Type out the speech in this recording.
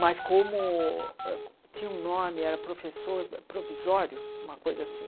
Mas como tinha um nome, era professor provisório, uma coisa assim.